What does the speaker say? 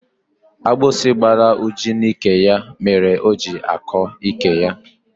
Agbịsị gbara Uju n'ike ya mere o ji akọ ike ya.